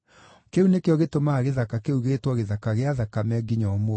Kĩu nĩkĩo gĩtũmaga gĩthaka kĩu gĩĩtwo Gĩthaka gĩa Thakame nginya ũmũthĩ.